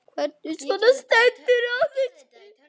Hvernig svona stendur á þessu?